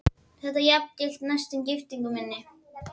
Þetta jafngilti næstum giftingu í mínum augum.